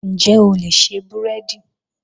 Ǹjẹ́ o lè ṣe búrẹ́dì?.